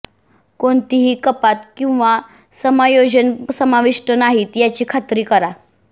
कोणतीही कपात किंवा समायोजन समाविष्ट नाहीत याची खात्री करा